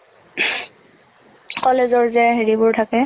college অৰ যে হেৰি বোৰ থাকে,